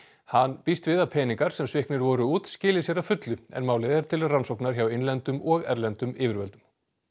hann býst við að peningar sem sviknir voru út skili sér að fullu en málið er til rannsóknar hjá innlendum og erlendum yfirvöldum